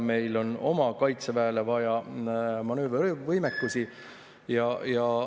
Meil on oma kaitseväele vaja manöövrivõimekusi.